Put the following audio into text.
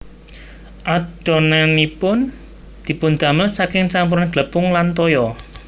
Adonanipun dipundamel saking campuran glepung lan toya